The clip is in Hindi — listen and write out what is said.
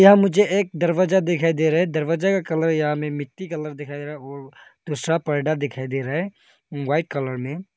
अ मुझे ए दिखाई दे रहा है दरवाजा का कलर या में मिट्टी कलर दिखाई दे रहा है और दूसरा परडा दिखाई दे रहा है वाइट कलर में।